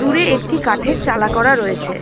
দূরে একটি কাঠের চালা করা রয়েছে।